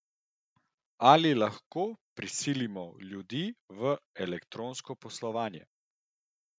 Ali lahko prisilimo ljudi v elektronsko poslovanje?